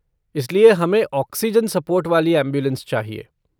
इसलिए, हमें oxygen support वाली ऐम्बुलेन्स चाहिए।